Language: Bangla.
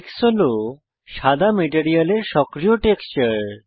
টেক্স হল সাদা মেটেরিয়ালের সক্রিয় টেক্সচার